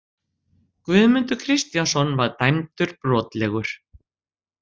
Guðmundur Kristjánsson var dæmdur brotlegur.